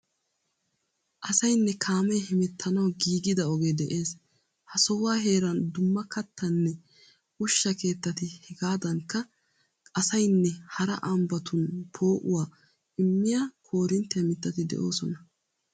Asayinne kaamee hemettanawu giigida ogee de'ees. Ha sohuwa heeran dumma kattanne ushsha keettati hegaadankka asayinne hara ambbatun poo'uwa immiya koorinttiya mittati de'oosona.